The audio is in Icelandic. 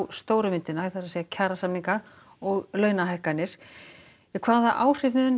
stóru myndina kjarasamningar og launahækkanir hvaða áhrif munu